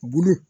Bulu